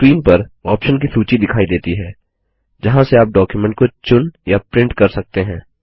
screen पर option की सूची दिखाई देती है जहाँ से आप डॉक्युमेंट को चुन या प्रिंट कर सकते हैं